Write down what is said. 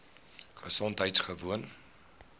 gesondheidgewoon